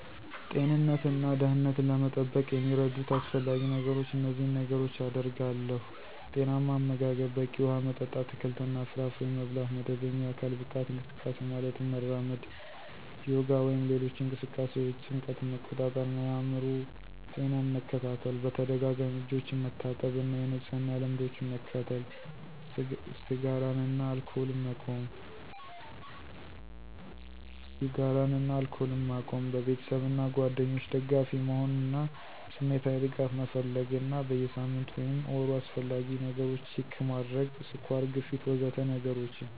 ጤንነትን እና ደህንነትን ለመጠበቅ የሚረዱት አስፈላጊ ነገሮች እነዚህን ነገሮች አደርጋለሁ። ⦁ ጤናማ አመጋገብ፣ በቂ ውሃ መጠጥ፣ አትክልትና ፍራፍሬ መብላት ⦁ መደበኛ የአካል ብቃት እንቅስቃሴ (ማለትም መራመድ፣ ዮጋ ወይም ሌሎች እንቅስቃሴዎች) ⦁ ጭንቀትን መቆጣጠር እና የአእምሮ ጤናን መከታተል ⦁ በተደጋጋሚ እጆችን መታጠብ እና የንጽህና ልምዶችን መከተል ⦁ ስጋራን እና አልኮልን መቆም ⦁ በቤተሰብ እና ጓደኞች ደጋፊ መሆን እና ስሜታዊ ድጋፍ መፈለግ እና በየ ሳምንቱ ወይም ወሩ አስፈላጊ ነገሮች ችክ ማድረግ (ስኳር፣ ግፊት... ወዘተ ነገሮችን)